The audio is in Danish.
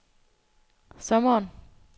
sommeren